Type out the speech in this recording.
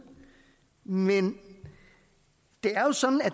men det er jo sådan at